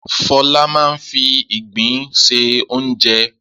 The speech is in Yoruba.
Fọlá máa ń fi ìgbín se oúnjẹ.